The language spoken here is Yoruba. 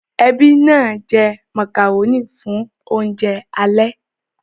Ẹbí náà jẹ màkàrónì fún oúnjẹ alẹ́